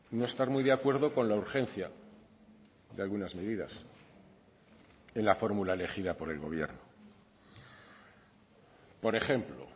no estar muy de acuerdo con la urgencia de algunas medidas en la fórmula elegida por el gobierno por ejemplo